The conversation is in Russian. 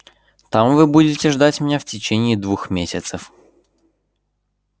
там вы будете ждать меня в течение двух месяцев